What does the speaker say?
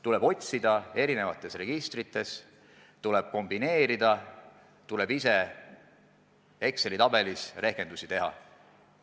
Tuleb otsida erinevatest registritest, tuleb kombineerida, tuleb ise Exceli tabelis rehkendusi teha.